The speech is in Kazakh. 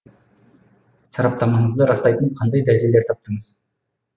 сараптамаңызды растайтын қандай дәлелдер таптыңыз